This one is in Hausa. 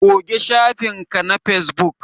Goge shafin ka na Facebook